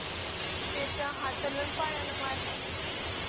त्याच्या हाताला आणि पायाला मारलं